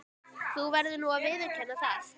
Þú verður nú að viðurkenna það.